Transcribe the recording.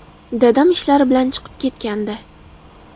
Dadam ishlari bilan chiqib ketgandi.